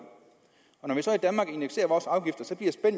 og når vi så